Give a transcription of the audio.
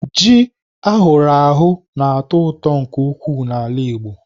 Ji ahụrụ ahụ na-atọ ụtọ nke ukwuu n'ala Igbo.